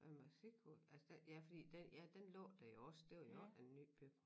Og musikhus altså der ja fordi der ja den lå der jo også det var jo også en ny bygning